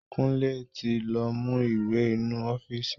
Kunle ti lọ mú ìwé ninu ọ́fíìsì